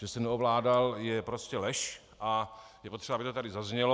Že se neovládal, je prostě lež a je potřeba, aby to tady zaznělo.